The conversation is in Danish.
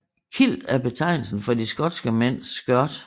Kilt er betegnelsen for de skotske mænds skørt